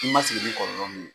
I ma sigi ni kɔlɔlɔ min ye.